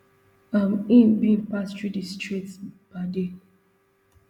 um im bin pass through di strait per day